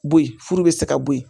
Bo ye furu bɛ se ka bɔ yen